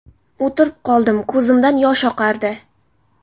O‘tirib qoldim, ko‘zimdan yosh oqardi.